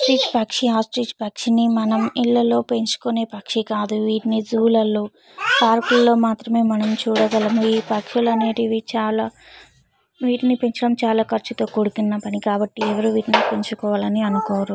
ఈ పక్షి ఆస్ట్రిచ్ పక్షి మనం ఇళ్ళల్లో పెంచుకునే పక్షి కాదు వీటిని జూ లలో పార్క్ ల్లోనే మాత్రమే మనం చూడగళం ఈ పక్షులనెటివి చాలా వీటిని పెంచడం చాలా కర్చుతో కూడుకున్న పని కాబట్టి ఎవరు వీటిని పెంచుకోవాలని అనుకోరు